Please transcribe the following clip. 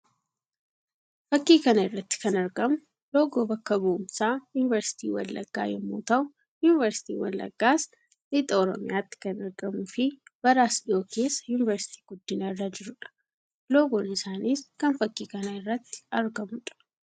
Fakkii kana irratti kan argamu loogoo bakka bu'umsaa yuuniversiitii Wallaggaa yammuu ta'u; yuuniversiitiin Wallaggaas Lixa Oromiyaatti kan argamuu fi bara as dhiyoo keessá yuuniversiitii guddina irra jiruu dha. Loogoon isaaniis kan fakkii kana irratti argamuu dha.